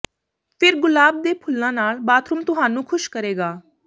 ਫਿਰ ਗੁਲਾਬ ਦੇ ਫੁੱਲਾਂ ਨਾਲ ਬਾਥਰੂਮ ਤੁਹਾਨੂੰ ਖੁਸ਼ ਕਰੇਗਾ